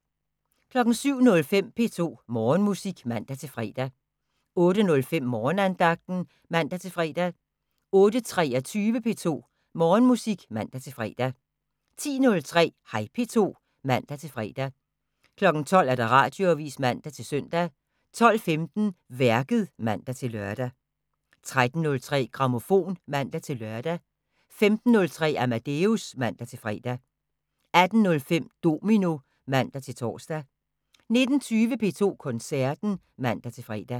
07:05: P2 Morgenmusik (man-fre) 08:05: Morgenandagten (man-fre) 08:23: P2 Morgenmusik (man-fre) 10:03: Hej P2 (man-fre) 12:00: Radioavisen (man-søn) 12:15: Værket (man-lør) 13:03: Grammofon (man-lør) 15:03: Amadeus (man-fre) 18:05: Domino (man-tor) 19:20: P2 Koncerten (man-fre)